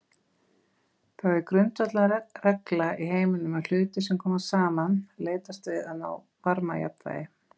Það er grundvallarregla í heiminum að hlutir sem koma saman leitast við að ná varmajafnvægi.